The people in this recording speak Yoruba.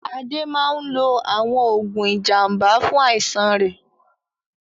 Ade máa ń lo àwọn oògùn ìjàmbá fún àìsàn rẹ̀.